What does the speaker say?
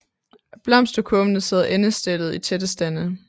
Blomsterkurvene sidder endestillet i tætte stande